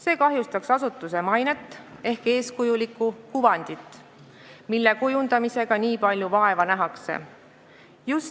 See kahjustaks asutuse mainet ehk eeskujulikku kuvandit, mille kujundamisega nii palju vaeva nähakse.